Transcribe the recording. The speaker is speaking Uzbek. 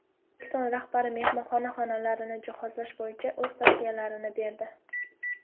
O‘zbekiston rahbari mehmonxona xonalarini jihozlash bo‘yicha o‘z tavsiyalarini berdi.